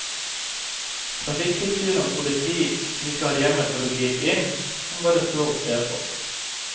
Trafikktilsyn og politi, som ikke har hjemmel for å gripe inn, kan bare stå og se på.